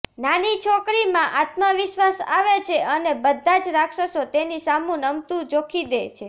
નાની છોકરીમાં આત્મવિશ્વાસ આવે છે અને બધા જ રાક્ષસો તેની સામું નમતું જોખી દે છે